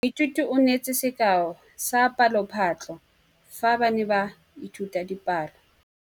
Moithuti o neetse sekaô sa palophatlo fa ba ne ba ithuta dipalo.